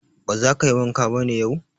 Ba za ka yi wanka ba ne yau?